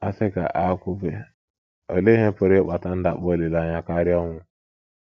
A sị ka a kwube, olee ihe pụrụ ịkpata ndakpọ olileanya karịa ọnwụ?